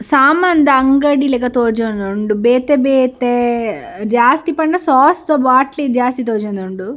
ಸಾಮಾನ್‌ದ ಅಂಗಡಿ ಲೆಕ್ಕ ತೋಜೋಂದುಂಡು ಬೇತೆ ಬೇತೆ ಜಾಸ್ತಿ ಪನ್ನ ಸಾಸ್‌ದ ಬಾಟ್ಲಿ ಜಾಸ್ತಿ ತೋಜೊಂದುಂಡು.